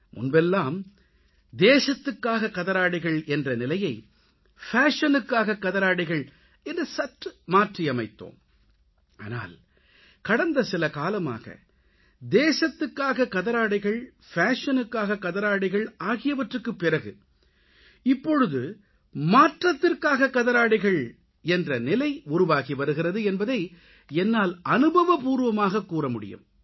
முன்பெல்லாம் தேசத்துக்காக கதராடைகள் என்ற நிலையை ஃபேஷனுக்காக கதராடைகள் என்று சற்று மாற்றியமைத்தோம் ஆனால் கடந்த சில காலமாக தேசத்துக்காக கதராடைகள் ஃபேஷனுக்காக கதராடைகள் ஆகியவற்றுக்குப் பிறகு இப்பொழுது மாற்றத்திற்காக கதராடைகள் என்ற நிலை உருவாகிவருகிறது என்பதை என்னால் அனுபவப்பூர்வமாக கூறமுடியும்